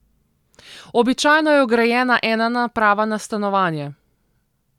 Običajno je vgrajena ena naprava na stanovanje.